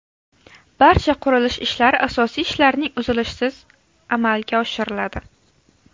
Barcha qurilish ishlari asosiy ishlarning uzilishisiz amalga oshiriladi.